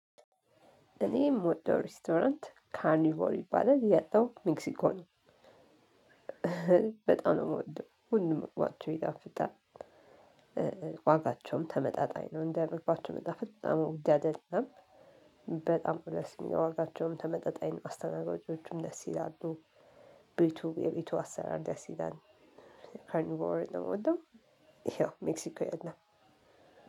እኔ የምወደው ሬስቶራንት ካርኒቮ ይባላል። ያለው ሜክሲኮ ነው። በጣም ነው ምወደው ሁሉም ምግባቸው ይጣፍጣል። ዋጋቸውም ተመጣጣኝ ነው እንደ ምግባቸው መጣፈጥ በጣም ውድ አይደለም። በጣም ደስ የሚለው፤ ዋጋቸውም ተመጣጣኝ አስተናጋጆቹም ደስ ይላሉ፣ ቤቱ የቤቱ አሰራር ደስ ይላል። ካርኒቮ ነው እምወደው ሜክሲኮ ያለው